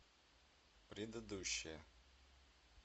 предыдущая